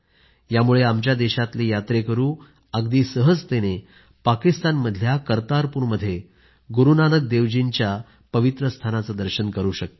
यामुळे आमच्या देशातले यात्रेकरू अगदी सहजतेने पाकिस्तानमधल्या करतारपूर मध्ये गुरूनानक देव जी यांच्या त्या पवित्र स्थानाचे दर्शन करू शकतील